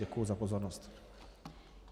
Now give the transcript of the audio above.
Děkuji za pozornost.